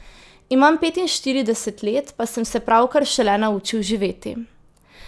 Imam petinštirideset let, pa sem se pravkar šele naučil živeti!